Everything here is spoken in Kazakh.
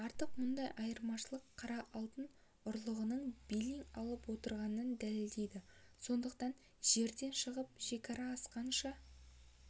артық мұндай айырмашылық қара алтын ұрлығының белең алып отырғанын дәлелдейді сондықтан жерден шығып шекара асқанша